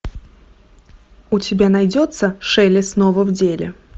у тебя найдется шелли снова в деле